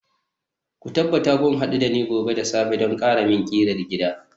ku tabbata kun hadu da ni gobe da safe don ƙaramin ƙirar gida